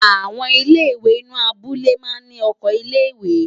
Àwọn ilé-ìwé inú abúlé máa ń ní oko ilé-ìwé.